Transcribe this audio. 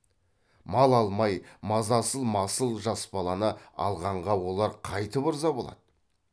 мал алмай мазасыз масыл жас баланы алғанға олар қайтіп ырза болады